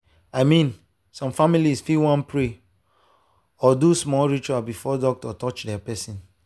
i mean some families fit wan pray or do small ritual before doctor touch their person.